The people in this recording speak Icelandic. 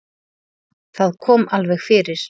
Það kom alveg fyrir.